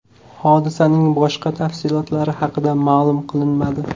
Hodisaning boshqa tafsilotlari haqida ma’lum qilinmadi.